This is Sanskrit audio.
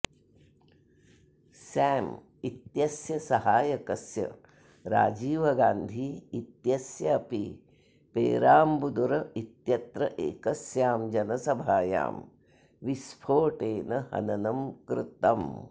सॅम इत्यस्य सहायकस्य राजीव गान्धी इत्यस्य अपि पेराम्बुदुर् इत्यत्र एकस्यां जनसभायां विस्फोटेन हननं कृतम्